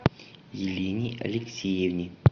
елене алексеевне